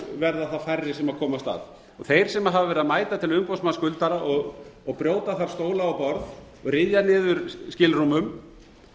verða færri sem komast að þeir sem hafa verið að mæta til umboðsmanns skuldara og brjóta þar stóla og borð ryðja niður skilrúmum